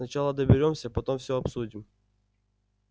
сначала доберёмся потом все обсудим